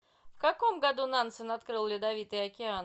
в каком году нансен открыл ледовитый океан